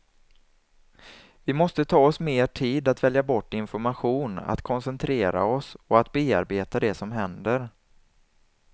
Vi måste ta oss mer tid att välja bort information, att koncentrera oss och att bearbeta det som händer.